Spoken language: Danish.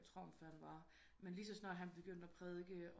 Trump han var men lige så snart han begyndte at prædike